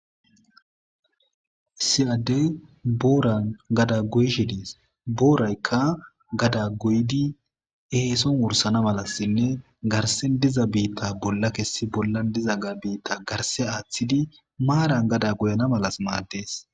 siyaddey booran gada goyshidis booraykka gada goydi eeson wursana malassinne garsen diza biitta bolla kessi bollan diza ga biitta garse aaththidi maaran gada goyana malas maaddees